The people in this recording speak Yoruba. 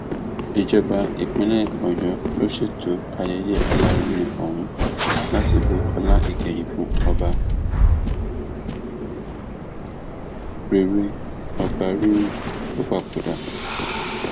ìjọba ìpínlẹ ọyọ ló ṣètò ayẹyẹ alárinrin ọhún láti bu ọlá ìkẹyìn fún ọba rere ọba rere tó papòdà náà